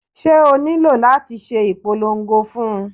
Ṣé o nílò láti ṣe ìpolongo fún un?